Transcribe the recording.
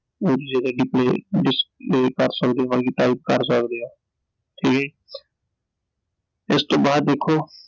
ਉਹਦੀ ਜਗ੍ਹਾ ਭਰ ਸਕਦੇ ਓ type ਕਰ ਸਕਦੇ ਓl ਠੀਕ ਐ ਜੀl ਇਸ ਤੋਂ ਬਾਅਦ ਦੇਖੋ